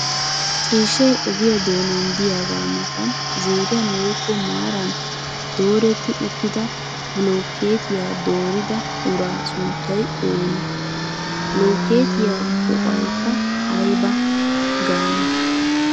Ciishshay ogiyaa doonan diyagaa matan ziiriyan woyikko maaran dooretti uttida bilookkeetiya doorida uraa sunttay oonee? Ha blokkeetiya go'oyikkaa ayiba gaanee?